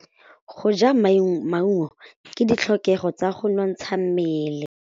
Go ja maungo ke ditlhokegô tsa go nontsha mmele.